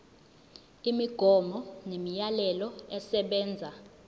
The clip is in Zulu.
imigomo nemiyalelo esebenza